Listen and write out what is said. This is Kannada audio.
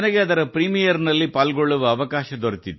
ಅದರ ಪ್ರಥಮ ಪ್ರದರ್ಶನ ವೀಕ್ಷಿಸುವ ಅವಕಾಶ ನನಗೆ ಸಿಕ್ಕಿತು